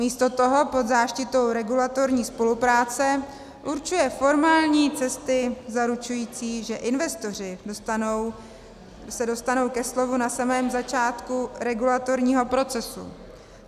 Místo toho pod záštitou regulatorní spolupráce určuje formální cesty zaručující, že investoři se dostanou ke slovu na samém začátku regulatorního procesu.